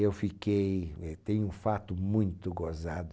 Eu fiquei, tem um fato muito gozado,